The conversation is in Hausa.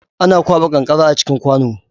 Ana kwaɓa kankara a cikin kwano